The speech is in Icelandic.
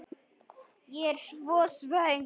Ég er svo svöng.